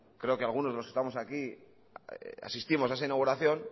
creo que algunos de los que estamos aquí asistimos a esa inauguración